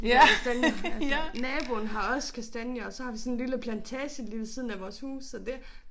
De der kastanje altså. Naboen har også kastanjer og så har vi sådan lille plantage lige ved siden af vores hus så det